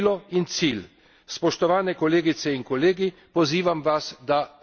in sistema, v katerem bo evropska perspektiva vodilo in cilj.